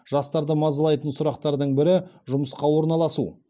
жастарды мазалайтын сұрақтардың бірі жұмысқа орналасу